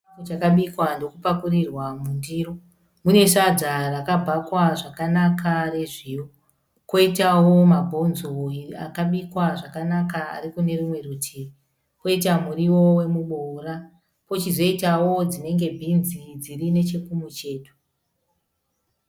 Chikafu chabikwa nhokupakurirwa mundiro. Mune sadza rakabhakwa zvakanaka rezviyo. Kwoitawo mabonzo akabikwa zvakanaka ari kune rumwe rutivi, kwoita muriwo womuboora. Kwochizoitawo dzinenge bhinzi dziri nechekumucheto.